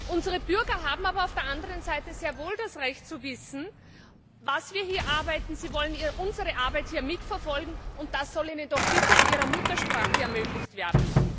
Unsere Bürger haben aber auf der anderen Seite sehr wohl das Recht zu wissen, was wir hier arbeiten, sie wollen unsere Arbeit hier mitverfolgen, und das soll ihnen doch bitte in ihrer Muttersprache ermöglicht werden.